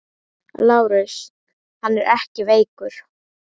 LÁRUS: Hann er ekkert veikur.